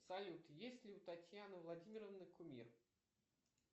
салют есть ли у татьяны владимировны кумир